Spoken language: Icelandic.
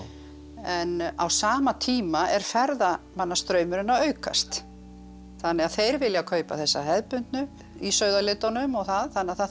en á sama tíma er ferðamannastraumurinn að aukast þannig að þeir vilja kaupa þessa hefðbundu í sauðalitunum og það þannig að það þarf